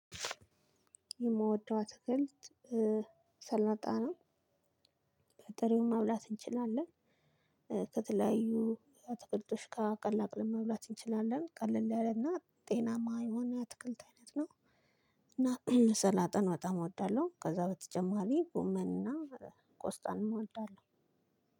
የምወደው አትክልት ሰላጣ ነው። በጥሬውም መብላት እንችላለን። ከተለያዩ አትክልቶች ጋር ቀላቅለን መብላት እንችላለን ቀለል ያለና ጤናማ የሆነ የአትክልት አይነት ነው። እና ሰላጣን በጣም እወዳለሁ። ከዛ በተጨማሪ ጎመን እና ቆስጣንም እወዳለሁ።